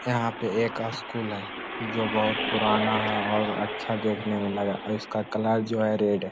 यहाँ पे एक स्कूल हैं जो बहुत पुराना है और अच्छा देखने में लग रहा है इसका कलर जो है रेड है|